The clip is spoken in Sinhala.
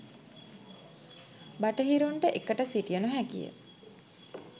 බටහිරුන්ට එකට සිටිය නොහැකිය